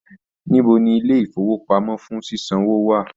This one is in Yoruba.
Níbo ní ilé ifowopamọ fún ṣiṣanwo wà?